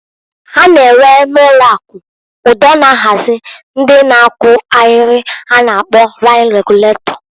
A na enwe na ụlọ akụ ụdọ na-ahazi ndị na-akwụ ahịrị a na-akpọ lain reguletọ.